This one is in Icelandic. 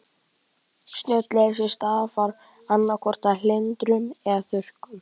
Snjóleysi stafar annað hvort af hlýindum eða þurrkum.